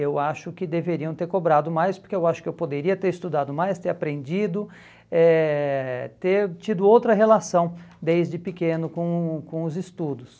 Eu acho que deveriam ter cobrado mais, porque eu acho que eu poderia ter estudado mais, ter aprendido, eh ter tido outra relação desde pequeno com o com os estudos.